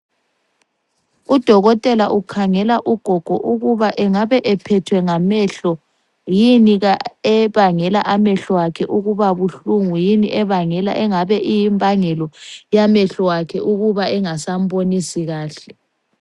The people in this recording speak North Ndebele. Udokotela ukhangela ugogo ukuba angabe ephethwe ngamehlo, yini ebangela amehlo akhe ukuba buhlungu, yini engabe iyimbangelo yamehlo akhe ukuba engasambonisi kahle.